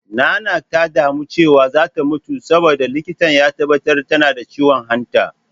Nanak ta damu cewa za ta mutu saboda, likita ya tabbatar tana da ciwon hanta.